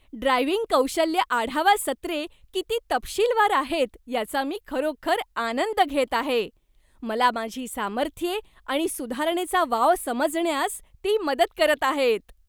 Driving कौशल्य आढावा सत्रे किती तपशीलवार आहेत याचा मी खरोखर आनंद घेत आहे, मला माझी सामर्थ्ये आणि सुधारणेचा वाव समजण्यास ती मदत करत आहेत.